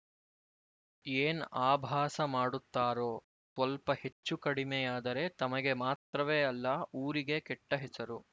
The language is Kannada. ಏನು ಅಭಾಸ ಮಾಡುತ್ತಾರೋ ಸ್ವಲ್ಪ ಹೆಚ್ಚು ಕಡಿಮೆಯಾದರೆ ತಮಗೆ ಮಾತ್ರವೇ ಅಲ್ಲ ಊರಿಗೇ ಕೆಟ್ಟ ಹೆಸರು